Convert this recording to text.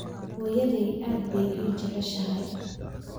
Hooyaday aad bay ii jeceshahay